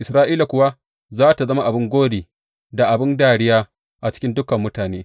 Isra’ila kuwa za tă zama abin gori da abin dariya a cikin dukan mutane.